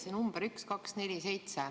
See number 1247.